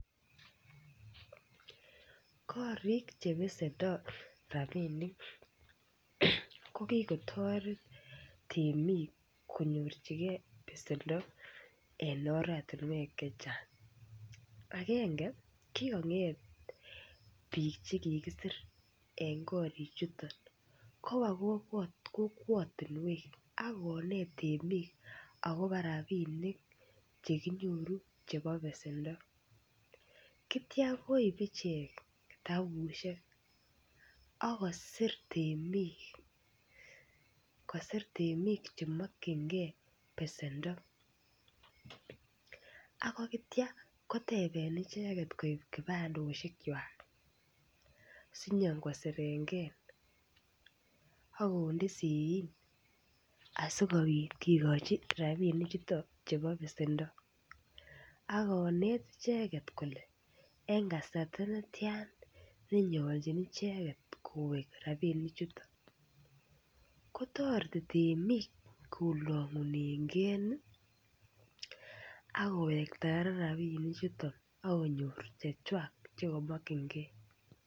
Koriik che pesendoi rapinik ko kikotaret temik konyorchikei pesendo eng oratinwek chechang'. Agenge, kikong'et pik che kikisir eng korik chuton kopa kokwatinwek akoneet temik akobo rapinik che kinyoru chebo pesendo. Teitya koip ichek kitapushek akosir temik, kosir temik chemokchingei pesendo. Aitya koteben icheket koip kipandoshek chwak sinyikosirenkei akonde seein asikopit kikochi rapinik chutok chepo pesendo. Akoneet icheket kole eng kasarta netya nenyalchin icheket koweek rapinichuton. Kotareti temik kolanguneikei akowekta rapinichuton akonyor chechwak che kamokchingei.